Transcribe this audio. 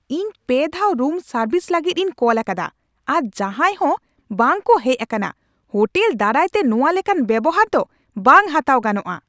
ᱤᱧ ᱯᱮ ᱫᱷᱟᱣ ᱨᱩᱢ ᱥᱟᱨᱵᱷᱤᱥ ᱞᱟᱹᱜᱤᱫ ᱤᱧ ᱠᱚᱞ ᱟᱠᱟᱫᱟ, ᱟᱨ ᱡᱟᱦᱟᱸᱭ ᱦᱚᱸ ᱵᱟᱝ ᱠᱚ ᱦᱮᱡ ᱟᱠᱟᱱᱟ ᱾ ᱦᱳᱴᱮᱞ ᱫᱟᱨᱟᱭ ᱛᱮ ᱱᱚᱶᱟ ᱞᱮᱠᱟᱱ ᱵᱮᱣᱦᱟᱨ ᱫᱚ ᱵᱟᱝ ᱦᱟᱛᱟᱣ ᱜᱟᱱᱚᱜᱼᱟ ᱾